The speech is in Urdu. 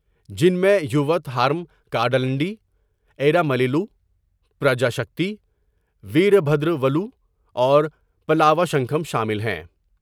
جن میں یووت ہارم کادندی، ایرا مَلیلُ، پراجا شکتی، ویر بھدر ولو اور پالاوا شنکھم شامل ہیں ۔